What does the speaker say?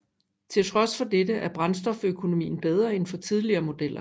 Til trods for dette er brændstoføkonomien bedre end for tidligere modeller